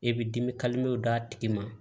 E bɛ dimi d'a tigi ma